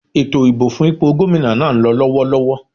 Ètò ìbò fún ipò Gómìnà náà ń lọ lọ́wọ́lọ́wọ́